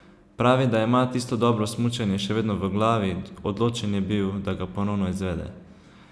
Pravi, da ima tisto dobro smučanje še vedno v glavi, odločen je bil, da ga ponovno izvede.